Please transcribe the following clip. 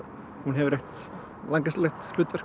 hún hefur